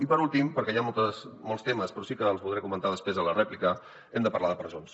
i per últim perquè hi ha molts temes però sí que els voldré comentar després a la rèplica hem de parlar de presons